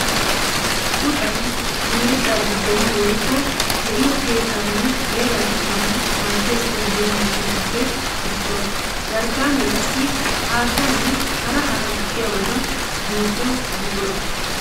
Puxxay miiriqqa digganawu woykko de'iyo keettanne heeraa pittanawu maadiya so giddo miishshatuppe issuwa. Jarkkanne qassi haattanne hara hara gukkiyabatta duuqqiyo buqura.